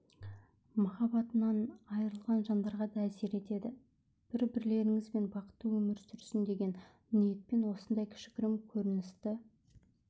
махаббатынан айырылған жандарға да әсер етеді бір-бірлеріңізбен бақытты өмір сүрсін деген ниетпен осындай кішігірім көріністі